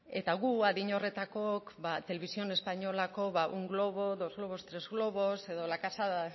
eta guk adin horretakook televisión españolako ba un globo dos globos tres globos edo la casa